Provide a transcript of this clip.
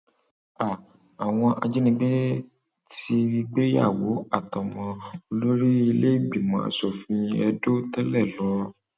háà àwọn ajinígbé ti gbéyàwó àtọmọ olórí iléìgbìmọ asòfin ìpínlẹ edo tẹlẹ lọ o